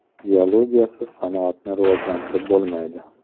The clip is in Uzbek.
Geologiyasiz sanoatni rivojlantirib bo‘lmaydi.